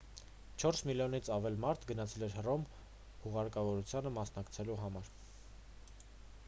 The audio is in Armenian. չորս միլիոնից ավելի մարդ գնացել էր հռոմ հուղարկավորությանը մասնակցելու համար